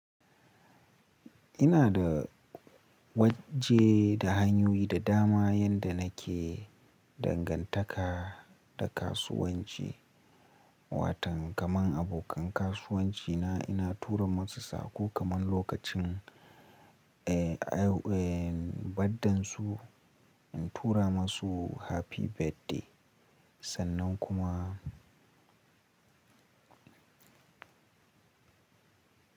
Ina da waje da hanyoyi da dama yadda nake dangantaka da kasuwanci. Watan kamar abokan kasuwanci na ina tura musu sako kaman lokacin, eh, a, eh, birthdayn su, in tura masu happy birthday sannan kuma.